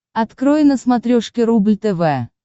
открой на смотрешке рубль тв